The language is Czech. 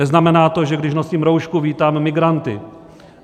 Neznamená to, že když nosím roušku, vítám migranty.